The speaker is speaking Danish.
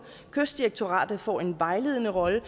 kystdirektoratet får en vejledende rolle